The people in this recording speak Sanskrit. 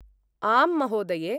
आम्, महोदये!